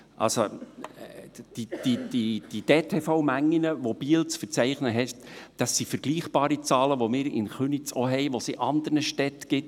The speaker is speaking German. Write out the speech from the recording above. Die durchschnittlichen Tagesverkehr(DTV)Mengen, die Biel zu verzeichnen hat, sind vergleichbare Zahlen, die wir auch in Köniz haben, die es auch in anderen Städten gibt.